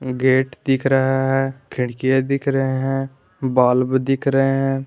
Gate दिख रहा है खिड़कियां दिख रहे हैं बल्ब दिख रहे हैं।